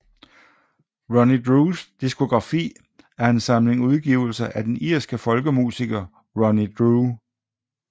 Ronnie Drews diskografi er en samling udgivelser af den irske folkemusiker Ronnie Drew